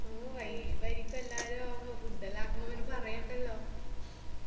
മ് vibe ആരിക്കു എല്ലാരു food എല്ലോ ആകുമ്പോ പിന്ന പറയണ്ടല്ലോ